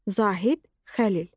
Zahid Xəlil.